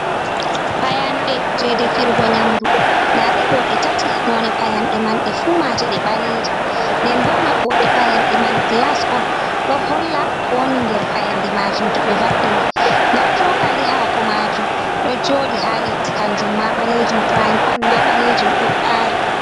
Payande je defirgo nyamdu ndaade ɗo ɗe tati, none payande man ɓe fu maje ɗe baleje nden bo mabbode payande man glas on ɗo holla kowoni nder fayande majum, to be va’ini nda chokali hako majum ɗo joɗi ha leddi kanjum ma ɓalejum frying pan ma ɓalejum ɗo ɓaari.